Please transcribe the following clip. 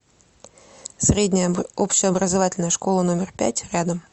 средняя общеобразовательная школа номер пять рядом